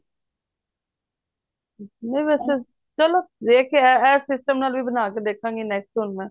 ਨਹੀਂ ਵੈਸੇ ਚਲੋ ਦੇਖ ਕੇ ਇਹ system ਨਾਲ ਵੀ ਬਣ ਕੇ ਦੇਖਾ ਗੀ next ਹੁਣ ਮੈਂ